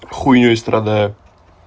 хуйней страдаю